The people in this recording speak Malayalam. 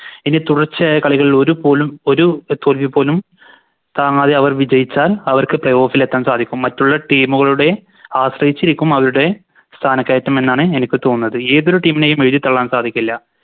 ഇനി തുടർച്ചയായ കളികളിൽ ഒരു പോലും ഒരു അഹ് തോൽവിപോലും താങ്ങാതെ അവർ വിജയിച്ചാൽ അവർക്ക് Play off ൽ എത്താൻ സാധിക്കും മറ്റുള്ള Team കളുടെ ആശ്രയിച്ചിരിക്കും അവരുടെ സ്ഥാനക്കയറ്റം എന്നാണ് എനിക്ക് തോന്നുന്നത് ഏതൊരു Team നെയും എഴുതി തള്ളാൻ സാധിക്കില്ല